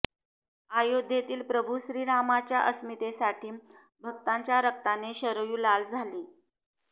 अयोध्येतील प्रभू श्रीरामाच्या अस्मितेसाठी भक्तांच्या रक्ताने शरयू लाल झाली